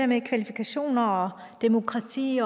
med kvalifikationer og demokrati